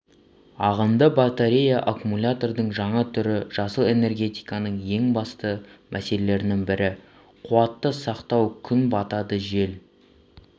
ағынды батерея аккумулятордың жаңа түрі жасыл энергетиканың ең басты мәселелерінің бірі қуатты сақтау күн батады жел